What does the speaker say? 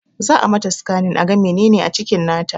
Za a mata sikanin aga menene a cikin nata